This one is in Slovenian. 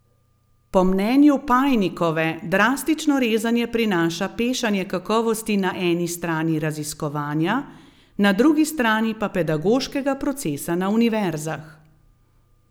Po mnenju Pajnikove drastično rezanje prinaša pešanje kakovosti na eni strani raziskovanja, na drugi pa pedagoškega procesa na univerzah.